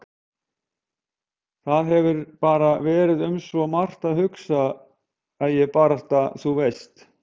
Það hefur bara verið um svo margt að hugsa að ég barasta. þú veist.